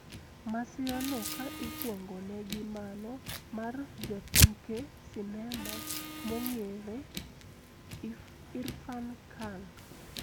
Masirano ka ikwongone gi mano mar jatuke sinema mong`ere Irrfan Khan